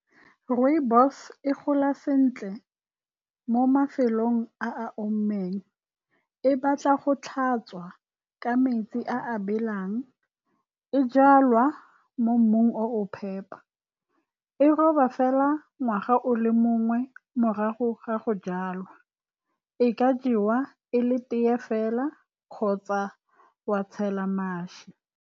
Rooibos-e e gola sentle mo mafelong a a omileng. E batla go tlhatswa ka metsi a a belang. E jalwa mo mmung oo phepa. E robiwa fela ngwaga o le mongwe morago ga go jalwa. E ka jewa e le tea fela kgotsa wa tshela mašwi.